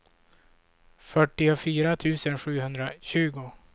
fyrtiofyra tusen sjuhundratjugo